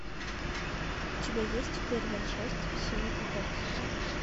у тебя есть первая часть синий экзорцист